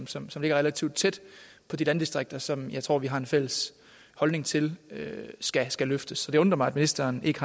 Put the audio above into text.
som som ligger relativt tæt på de landdistrikter som jeg tror vi har en fælles holdning til skal skal løftes så det undrer mig at ministeren ikke